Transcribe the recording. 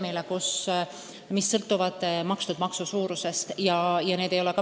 Ja lisaks sellele sõltuvad makstud maksude suurusest riigisüsteemid.